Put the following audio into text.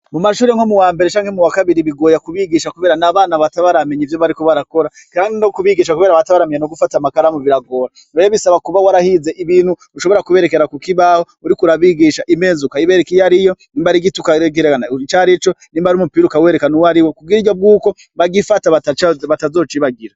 Mu mashure nko mu wa mbere canke mu wakabiri bigoya kubigisha, kubera na abana batabaramenya ivyo bari kubarakora kanke no kubigisha, kubera abatabaramiya no gufata makara mu biragora bayabisaba kuba warahize ibintu ushobora kuberekera ku ko ibaho uriko urabigisha imeza uka iberek iyo ari yo imbari igitukaekerancari ico ni mba ari umupira ukawerekano wo ari wo kugira iryo bw'uko bagifata batazocibaga.